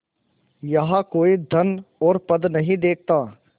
यहाँ कोई धन और पद नहीं देखता